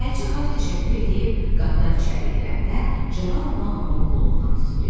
Xədicə xala təşəkkür eləyib qapıdan içəri girəndə, cavan oğlan onun qulundan tutub dedi: